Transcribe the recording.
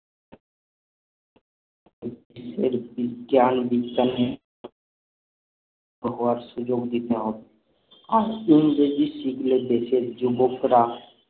দিয়ে বিজ্ঞান বিজ্ঞানের পড়ার সুযোগ দিতে হবে আর ইংরেজি শিখলে দেশের যুবকরা